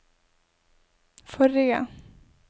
forrige